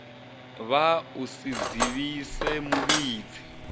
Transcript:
vhaa u si dzivhise muvhidzi